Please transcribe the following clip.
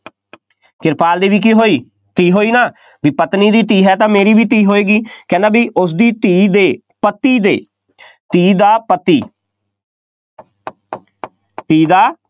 ਕਿਰਪਾਲ ਦੀ ਵੀ ਕੀ ਹੋਈ, ਧੀ ਹੋਈ ਨਾ, ਬਈ ਪਤਨੀ ਦੀ ਧੀ ਹੈ ਤਾਂ ਮੇਰੀ ਵੀ ਧੀ ਹੋਏਗੀ, ਕਹਿੰਦਾ ਬਈ ਉਸਦੀ ਧੀ ਦੇ ਪਤੀ ਦੇ, ਧੀ ਦਾ ਪਤੀ ਧੀ ਦਾ